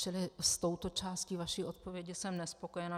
Čili s touto částí vaší odpovědi jsem nespokojena.